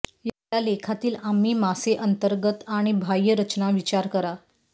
या लेखातील आम्ही मासे अंतर्गत आणि बाह्य रचना विचार करा